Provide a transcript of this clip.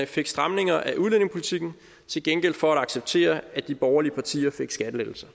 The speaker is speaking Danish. fik stramninger af udlændingepolitikken til gengæld for at acceptere at de borgerlige partier fik skattelettelser